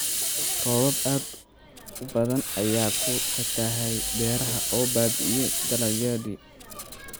Roobab aad u badan ayaa ku fatahay beeraha oo baabi'iyay dalagyadii.